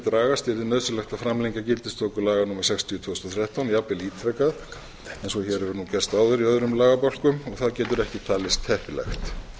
dragast yrði nauðsynlegt að framlengja gildistöku laga númer sextíu tvö þúsund og þrettán jafnvel ítrekað eins og hér hefur gerst áður í öðrum lagabálkum og það getur ekki talist heppilegt